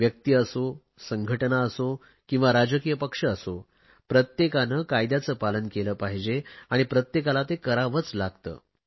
व्यक्ती असो संघटना असो किंवा राजकीय पक्ष असो प्रत्येकाने कायद्याचे पालन केले पाहिजे आणि प्रत्येकाला ते करावेच लागते